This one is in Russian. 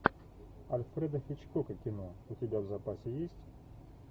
альфреда хичкока кино у тебя в запасе есть